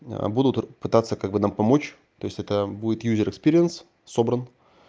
будут пытаться как бы нам помочь то есть это будет юзер экспириенс собран